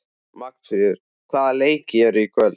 Magnfríður, hvaða leikir eru í kvöld?